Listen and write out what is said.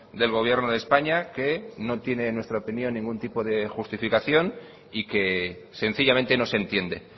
del gobierno de españa que no tiene en nuestra opinión ningún tipo de justificación y que sencillamente no se entiende